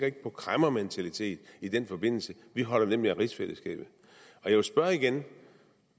ikke en kræmmermentalitet i den forbindelse vi holder nemlig af rigsfællesskabet jeg vil spørge igen